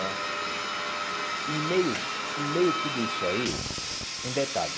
Eh e em meio em meio a tudo isso aí, um detalhe.